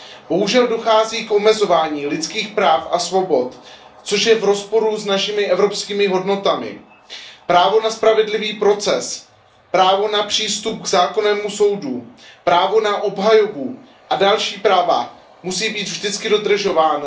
Bohužel dochází k omezování lidských práv a svobod, což je v rozporu s našimi evropskými hodnotami. Právo na spravedlivý proces, právo na přístup k zákonnému soudu, právo na obhajobu a další práva musí být vždy dodržována.